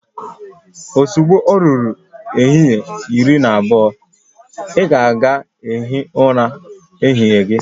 Ozugbo o ruru ehihie iri na abụọ, ị ga aga hịe ura ehihie gị